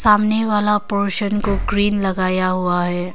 सामने वाला पोर्शन को ग्रीन लगाया हुआ है।